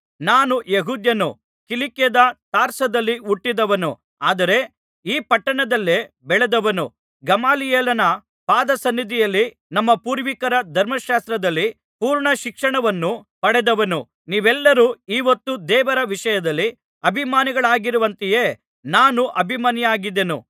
ನಾನು ಯೆಹೂದ್ಯನು ಕಿಲಿಕ್ಯದ ತಾರ್ಸದಲ್ಲಿ ಹುಟ್ಟಿದವನು ಆದರೆ ಈ ಪಟ್ಟಣದಲ್ಲೇ ಬೆಳೆದವನು ಗಮಲಿಯೇಲನ ಪಾದಸನ್ನಿಧಿಯಲ್ಲಿ ನಮ್ಮ ಪೂರ್ವಿಕರ ಧರ್ಮಶಾಸ್ತ್ರದಲ್ಲಿ ಪೂರ್ಣ ಶಿಕ್ಷಣವನ್ನು ಪಡೆದವನು ನೀವೆಲ್ಲರೂ ಈಹೊತ್ತು ದೇವರ ವಿಷಯದಲ್ಲಿ ಅಭಿಮಾನಿಗಳಾಗಿರುವಂತೆಯೇ ನಾನೂ ಅಭಿಮಾನಿಯಾಗಿದ್ದೆನು